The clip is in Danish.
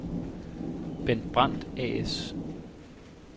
Bent Brandt A/S